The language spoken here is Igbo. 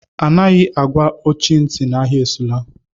Adịghị àgwà ọchị ntị na-agha esula!!